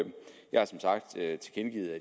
jeg